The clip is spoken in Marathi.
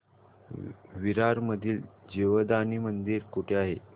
विरार मधील जीवदानी मंदिर कुठे आहे